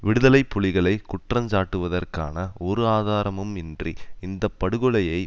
விடுதலை புலிகளை குற்றஞ் சாட்டுவதற்கான ஒரு ஆதாரமும் இன்றி இந்த படுகொலையை